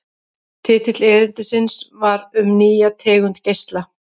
Titill erindisins var Um nýja tegund geisla.